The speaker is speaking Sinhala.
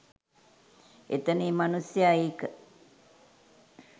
එතන ඒ මනුස්සයා ඒක